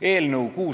Hea eesistuja!